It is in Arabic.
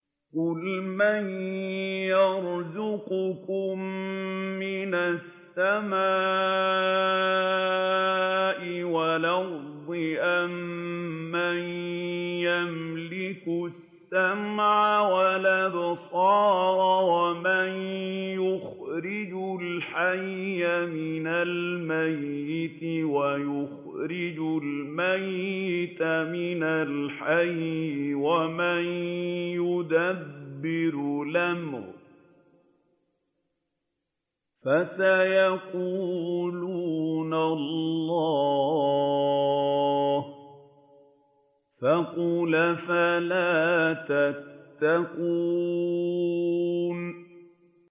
قُلْ مَن يَرْزُقُكُم مِّنَ السَّمَاءِ وَالْأَرْضِ أَمَّن يَمْلِكُ السَّمْعَ وَالْأَبْصَارَ وَمَن يُخْرِجُ الْحَيَّ مِنَ الْمَيِّتِ وَيُخْرِجُ الْمَيِّتَ مِنَ الْحَيِّ وَمَن يُدَبِّرُ الْأَمْرَ ۚ فَسَيَقُولُونَ اللَّهُ ۚ فَقُلْ أَفَلَا تَتَّقُونَ